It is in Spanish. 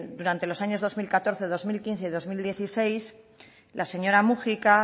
durante los años dos mil catorce dos mil quince y dos mil dieciséis la señora múgica